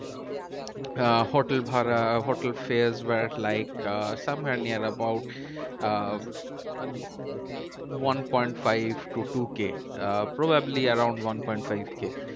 আহ hotel ভাড়া hotel fairs were like uh near about uh one point five to two K uh probably around one point five K